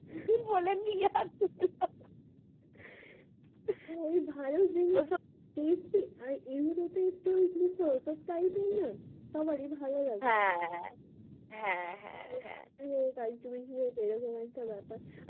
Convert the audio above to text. ওই ভালো জিনিস ওসব testy আর এগুলো তো একটু ওই মুখরোচক type এর না সবারই ভালো লাগে হ্যাঁ হ্যাঁ, হ্যাঁ, হ্যাঁ এরকম একটা ব্যাপার।